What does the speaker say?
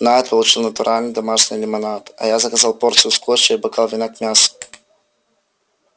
найд получил натуральный домашний лимонад а я заказал порцию скотча и бокал вина к мясу